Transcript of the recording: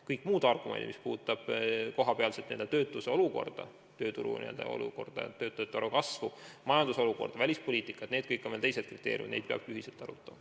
Kõik muud argumendid, mis puudutavad näiteks kohapealset töötuse olukorda, tööturu olukorda, töötajate arvu kasvu, majanduse olukorda, välispoliitikat – need kõik on teised kriteeriumid ja ka neid peab ühiselt arutama.